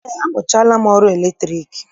Eé, amụchaala m ọrụ latriki